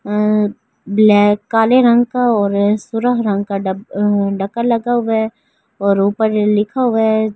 अअ black काले रंग का और सुरह रंग का डक्का लगा हुआ है और ऊपर लिखा हुआ है।